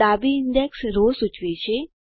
ડાબી index row સૂચવે છે